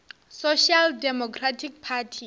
social democratic party